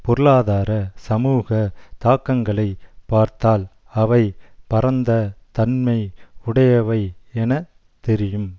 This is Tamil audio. பொருளாதார சமூக தாக்கங்களை பார்த்தால் அவை பரந்த தன்மை உடையவை என தெரியும்